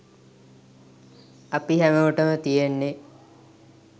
අපි හැමෝටම තියෙන්නේ